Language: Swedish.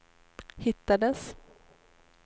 hittades